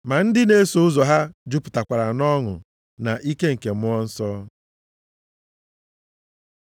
Ma ndị na-eso ụzọ ya jupụtakwara nʼọṅụ na nʼike nke Mmụọ Nsọ.